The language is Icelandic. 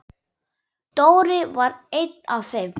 Dóri var einn af þeim.